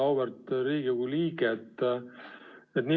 Auväärt Riigikogu liige!